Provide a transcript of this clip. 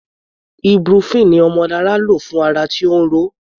Ibuprofen ni Omolara lò fún ara tí ó ń ro.